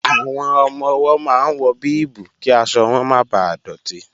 Àwọn ọmọ-ọwọ́ máa ń wọ bíìbù kí aṣọ wọn máa bà dọ̀tí